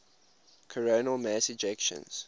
coronal mass ejections